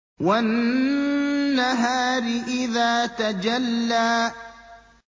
وَالنَّهَارِ إِذَا تَجَلَّىٰ